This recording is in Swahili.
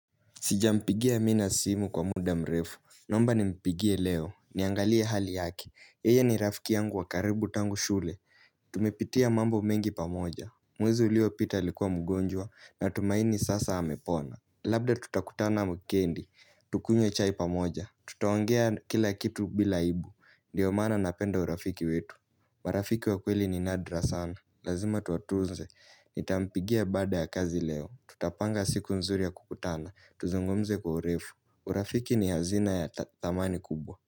Sijampigia mina simu kwa muda mrefu. Naomba nimpigie leo. Niangalie hali yake. Yeye ni rafiki yangu wa karibu tangu shule. Tumepitia mambo mengi pamoja. Mwezi uliopita alikuwa mgonjwa natumaini sasa amepona. Labda tutakutana wikendi, tukunywe chai pamoja Tutawangea kila kitu bila aibu, ndiyo maana napenda urafiki wetu marafiki wa kweli ni nadra sana Lazima tuwatunze, nitampigia baada ya kazi leo Tutapanga siku nzuri ya kukutana, tuzungumze kwa urefu urafiki ni hazina ya dhamani kubwa.